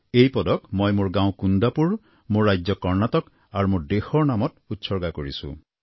এই পদক মই মোৰ গাঁও কুন্দাপুৰ মোৰ ৰাজ্য কৰ্ণাটক আৰু মোৰ দেশৰ নামত উৎসৰ্গা কৰিছোঁ